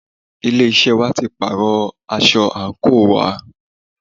Ilé iṣẹ́ wa tí pàárọ̀ aṣọ àńkò wa.